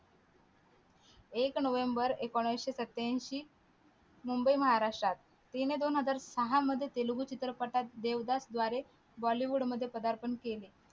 एक नोव्हेंबर एकोणविशे सत्यांशी मुंबई महाराष्ट्रात हिने दोन हजार सहा मध्ये तेलगू चित्रपटात देवदत द्वारे bollywood मध्ये पदार्पण केले.